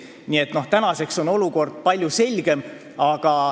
Nii et tänaseks on olukord palju selgem.